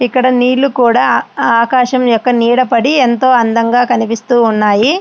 అక్కడ నీళ్లు కూడా ఆకాశము యొక్క నేడుపడి ఎంతో అందంగా ఉన్నాయి.